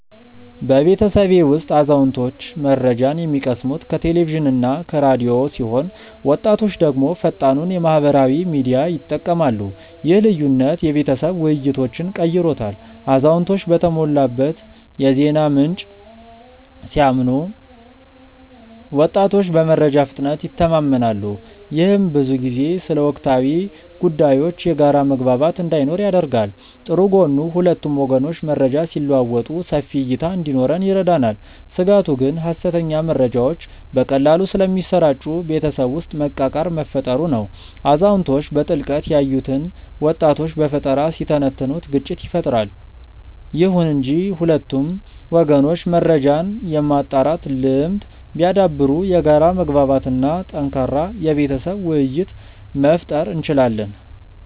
በቤተሰቤ ውስጥ አዛውንቶች መረጃን የሚቀስሙት ከቴሌቪዥንና ከራዲዮ ሲሆን ወጣቶች ደግሞ ፈጣኑን የማህበራዊ ሚዲያ ይጠቀማሉ። ይህ ልዩነት የቤተሰብ ውይይቶችን ቀይሮታል አዛውንቶች በተሞላበት የዜና ምንጭ ሲያምኑ ወጣቶች በመረጃ ፍጥነት ይተማመናሉ። ይህም ብዙ ጊዜ ስለ ወቅታዊ ጉዳዮች የጋራ መግባባት እንዳይኖር ያደርጋል። ጥሩ ጎኑ ሁለቱም ወገኖች መረጃ ሲለዋወጡ ሰፊ እይታ እንዲኖረን ይረዳናል። ስጋቱ ግን ሐሰተኛ መረጃዎች በቀላሉ ስለሚሰራጩ ቤተሰብ ውስጥ መቃቃር መፈጠሩ ነው። አዛውንቶች በጥልቀት ያዩትን ወጣቶች በፈጠራ ሲተነትኑት ግጭት ይፈጠራል። ይሁን እንጂ ሁለቱም ወገኖች መረጃን የማጣራት ልምድ ቢያዳብሩ የጋራ መግባባት እና ጠንካራ የቤተሰብ ውይይት መፍጠር እንችላለን።